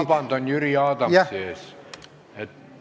Ma palun vabandust Jüri Adamsilt!